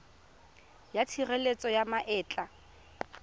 ya tshireletso ya ma etla